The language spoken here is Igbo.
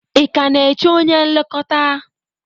Ị ka na-eche onye nlekọta?